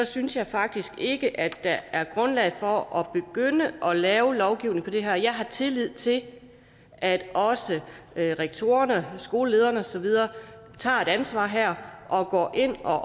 synes jeg faktisk ikke at der er grundlag for at begynde at lave lovgivning på det her område jeg har tillid til at også rektorerne skolelederne og så videre tager et ansvar her og går ind og